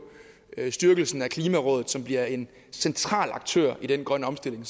styrkelsen af klimarådet som bliver en central aktør i den grønne omstilling